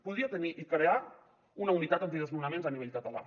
podria tenir i crear una unitat antidesnonaments a nivell català